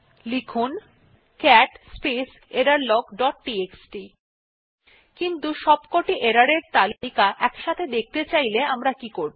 দেখুন cat space error log dot TXT কিন্তু সবকটি error এর তালিকা দেখতে চাইলে আমরা কি করবো